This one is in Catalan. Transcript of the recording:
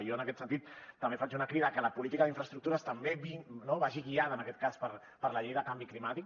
jo en aquest sentit també faig una crida que la política d’infraestructures també vagi guiada en aquest cas per la llei de canvi climàtic